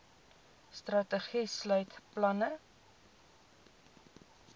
strategie sluit planne